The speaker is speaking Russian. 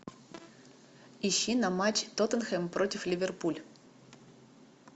ищи нам матч тоттенхэм против ливерпуль